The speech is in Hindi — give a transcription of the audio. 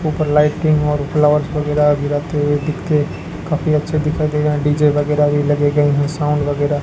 ऊपर लाइटिंग और फ्लावर्स वगैरा भी रखे हुए दिखे काफी अच्छे दिखाई दे रहा डी_जे वगैरा भी लगे गए है साउंड वगैरा --